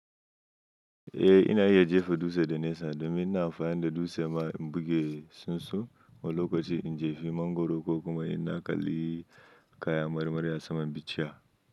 Eh ina iya jefa dutse da nesa domin ina amfani da dutse ma in buge sunsu, wani lokaci in jefi mangwaro ko kuma in na kalli kaya marmari a saman bichiya.